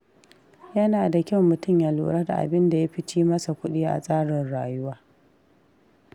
Yana da kyau mutum ya lura da abinda yafi ci masa kuɗi a tsarin rayuwa.